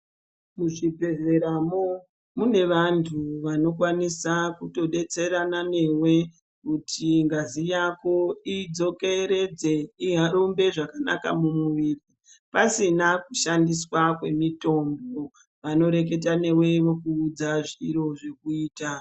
Ku chi bhedhleya mwo mune vantu vanokwanisa kuto betserana newe kuti ngazi idzokeredze irumbe zvakanaka mu miviri pasina ku shandiswa kwe mutombo vano reketa newe vokuudza zviro zvokuita.